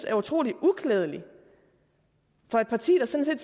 er utrolig uklædeligt for et parti der sådan